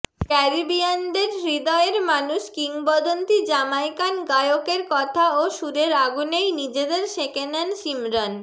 ক্যারিবিয়ানদের হৃদয়ের মানুষ কিংবদন্তি জামাইকান গায়কের কথা ও সুরের আগুনেই নিজেদের সেঁকে নেন শিমরন